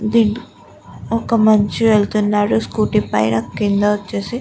ఒక మనిషి వెళ్తున్నాడు స్కూటీ పైన కింద వచ్చేసి --